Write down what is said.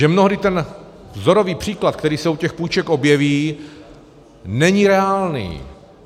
Že mnohdy ten vzorový příklad, který se u těch půjček objeví, není reálný.